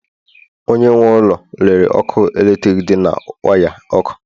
Onye nwe ụlọ lere ọkụ eletrik dị na waya ọkụ